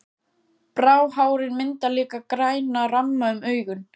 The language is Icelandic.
Bráhárin mynda líka græna ramma um augun.